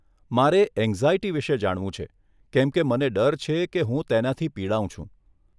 મારે એંગ્ઝાયટી વિષે જાણવું છે કેમ કે મને ડર છે હું તેનાથી પીડાવ છું.